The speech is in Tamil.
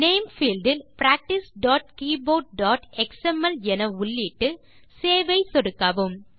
நேம் பீல்ட் இல் practicekeyboardஎக்ஸ்எம்எல் என உள்ளிட்டு சேவ் ஐ சொடுக்கவும்